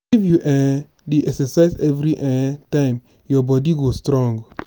if you um dey exercise every um time your body go strong.